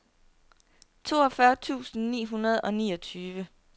toogfyrre tusind ni hundrede og niogtyve